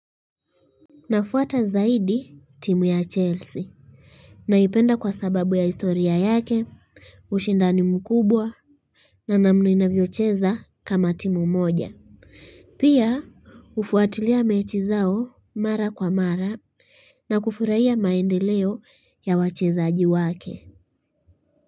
Nafuata zaidi timu ya Chelsea naipenda kwa sababu ya historia yake ushindani mkubwa na namna inavyocheza kama timu moja pia Hufuatilia mechi zao mara kwa mara na kufurahia maendeleo ya wachezaji wake.